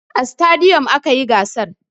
A stadiyom aka yi gasar.